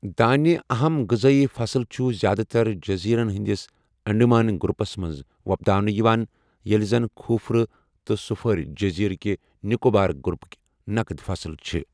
دانہِ، اَہَم غذٲئی فَصٕل چھُ زیادٕ تر جٔزیٖرٕن ہندِس انڈیمان گروپس منٛز وۄپداونہٕ یِوان، ییٚلہِ زَن کھوٗپرٕ تہٕ سٗپھٲرِ جٔزیرٕ کِہ نِکوبار گروپٕکہِ نقد فصل چھِ ۔